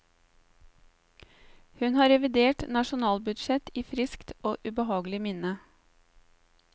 Hun har revidert nasjonalbudsjett i friskt og ubehagelig minne.